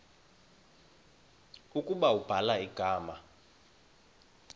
ukuba ubhala igama